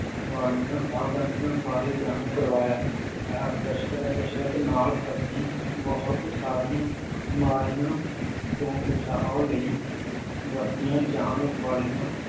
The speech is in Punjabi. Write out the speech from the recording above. ਵਾਲੀਆਂ ਸਾਵਧਾਨੀਆਂ ਬਾਰੇ ਜਾਣੂ ਕਰਵਾਇਆ ਹੈ, ਕਸਰ ਕਸਰਤ ਨਾਲ ਅਸੀਂ ਬਹੁਤ ਸਾਰੀਆਂ ਬਿਮਾਰੀਆਂ ਤੋਂ ਬਚਾਅ ਲਈ ਵਰਤੀਆਂ ਜਾਣ ਵਾਲੀਆਂ